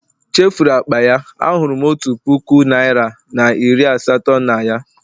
chefuru akpa ya, ahụrụ m otu puku naira na iri asatọ na ya